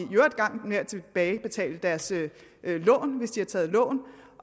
gang med at tilbagebetale deres lån hvis de har taget lån